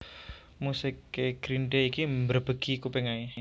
Musik e Green Day iki mbrebegi kuping ae